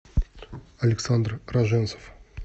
александр роженцев